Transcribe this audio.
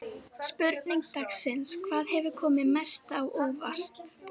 Spurning dagsins: Hvað hefur komið mest á óvart?